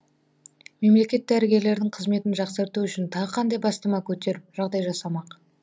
мемлекет дәрігерлердің қызметін жақсарту үшін тағы қандай бастама көтеріп жағдай жасамақ